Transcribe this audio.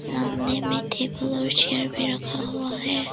सामने में टेबल और चेयर भी रखा हुआ है।